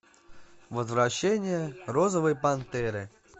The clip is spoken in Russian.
возвращение розовой пантеры